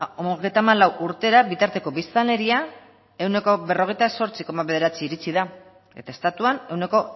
hogeita hamalau urtera bitarteko biztanleria ehuneko berrogeita zortzi koma bederatzira iritsi da eta estatuan ehuneko